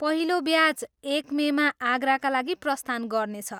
पहिलो ब्याच एक मेमा आगराका लागि प्रस्थान गर्नेछ।